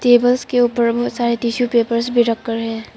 Tables के ऊपर बहुत सारे टिशू पेपर भी रखकर है।